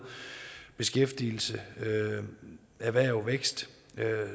beskæftigelse erhverv vækst